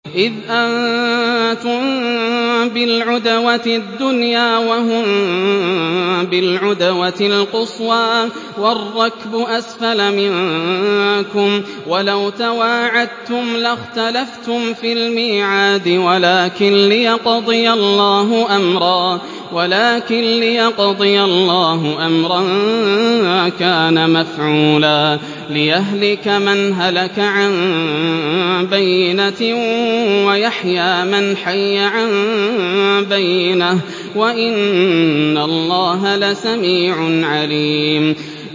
إِذْ أَنتُم بِالْعُدْوَةِ الدُّنْيَا وَهُم بِالْعُدْوَةِ الْقُصْوَىٰ وَالرَّكْبُ أَسْفَلَ مِنكُمْ ۚ وَلَوْ تَوَاعَدتُّمْ لَاخْتَلَفْتُمْ فِي الْمِيعَادِ ۙ وَلَٰكِن لِّيَقْضِيَ اللَّهُ أَمْرًا كَانَ مَفْعُولًا لِّيَهْلِكَ مَنْ هَلَكَ عَن بَيِّنَةٍ وَيَحْيَىٰ مَنْ حَيَّ عَن بَيِّنَةٍ ۗ وَإِنَّ اللَّهَ لَسَمِيعٌ عَلِيمٌ